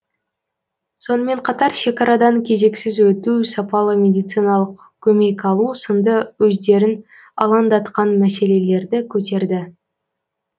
сонымен қатар шекарадан кезексіз өту сапалы медициналық көмек алу сынды өздерін алаңдатқан мәселелерді көтерді